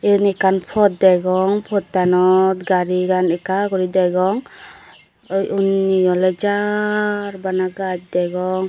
eyen ekkan pot degong pottanot garigan ekka guri degong unni oley jar bana gaj degong.